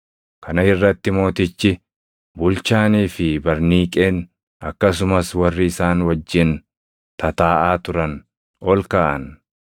Kana irratti mootichi, bulchaanii fi Barniiqeen, akkasumas warri isaan wajjin tataaʼaa turan ol kaʼan.